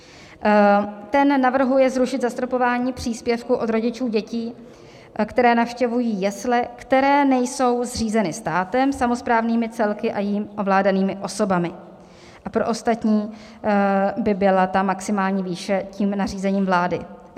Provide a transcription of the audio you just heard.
Ten navrhuje zrušit zastropování příspěvku od rodičů dětí, které navštěvují jesle, které nejsou zřízeny státem, samosprávnými celky a jimi ovládanými osobami, a pro ostatní by byla ta maximální výše tím nařízením vlády.